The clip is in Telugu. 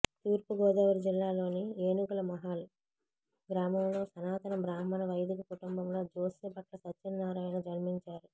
తూర్పుగోదావరి జిల్లాలోని ఏనుగులమహాల్ గ్రామంలో సనాతన బ్రాహ్మణ వైదిక కుటుంబంలో జోశ్యభట్ల సత్యనారాయణ జన్మించారు